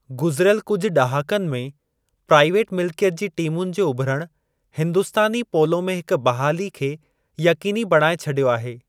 गुज़िरियल कुझु ॾहाकन में प्राइवेट मिलिकियत जे टीमुनि जे उभिरणु हिंदुस्तानी पोलो में हिक बहाली खे यक़ीनी बणाई छॾियो आहे।